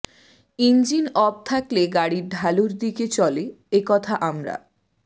engine off থাকলে গাড়ি ঢালুর দিকে চলে একথা আমরা